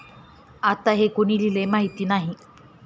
आता हे कुणी लिहिलंय माहित नाही.